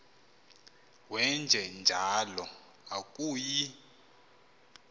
wenje njalo akuyi